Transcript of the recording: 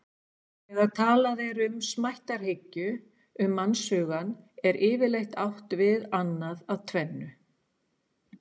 Þegar talað er um smættarhyggju um mannshugann er yfirleitt átt við annað af tvennu.